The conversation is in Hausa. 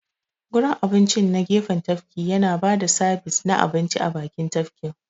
Gurin abincin na gefen tafki yana ba da sabis na abinci a bakin tafkin.